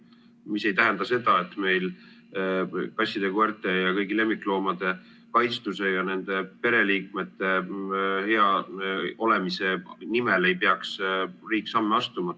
Mis ei tähenda seda, et meil kasside ja koerte ja kõigi lemmikloomade kaitstuse ja nende pereliikmete hea olemise nimel ei peaks riik samme astuma.